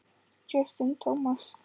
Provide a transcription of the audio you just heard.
Justin Thomas.